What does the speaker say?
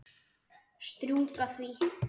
Strjúka því.